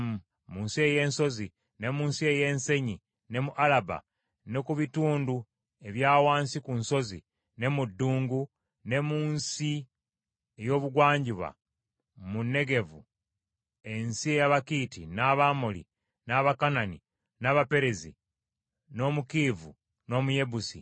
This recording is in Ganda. Mu nsi ey’ensozi, ne mu nsi ey’ensenyi ne mu Alaba ne ku bitundu ebya wansi ku nsozi, ne mu ddungu ne mu nsi ey’obugwanjuba mu Negevu, ensi ez’Abakiiti, n’Abamoli, n’Abakanani, n’Abaperezi, n’Omukiivi, n’Omuyebusi.